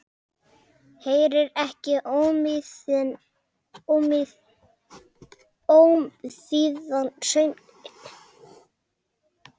Heyrir ekki ómþýðan söng minn.